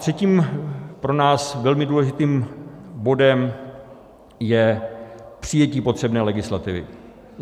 Třetím pro nás velmi důležitým bodem je přijetí potřebné legislativy.